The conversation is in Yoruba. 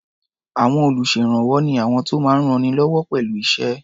À̀wọn olùṣèrànwọ́ ni àwọn tó máa ń rannilọ́wọ́ pẹ̀lú iṣẹ́.